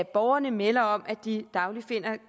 borgerne melder om at de dagligt finder